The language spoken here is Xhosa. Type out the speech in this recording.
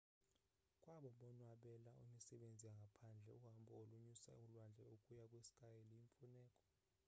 kwabo bonwabela imisebenzi yangaphandle uhambo olonyusa ulwandle ukuya kwi-sky luyimfuneko